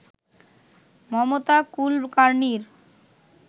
Mamata কুলকার্নির